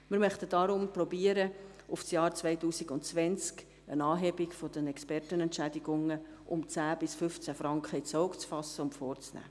Wir möchten deswegen versuchen, auf das Jahr 2020 hin eine Anhebung der Expertenentschädigungen um 10 bis 15 Franken ins Auge zu fassen und vorzunehmen.